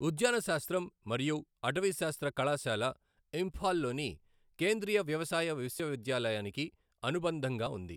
ఉద్యానశాస్త్రం మరియు అటవీశాస్త్ర కళాశాల ఇంఫాల్ లోని కేంద్రీయ వ్యవసాయ విశ్వవిద్యాలయానికి అనుబంధంగా ఉంది.